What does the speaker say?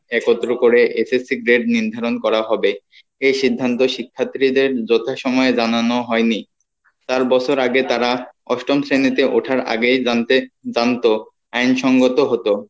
একত্র করে SSC grade নির্ধারণ করা হবে এই সিদান্ত শিক্ষার্থীদের যথা সময়ে জানানো হয় নি চার বছর আগে তারা অষ্টম শ্রেণীতে ওঠার আগেই জানতে জানতো আইন সম্মত হতো